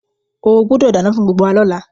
O gbúdọ̀ dánán fún gbgbo wa lọ́la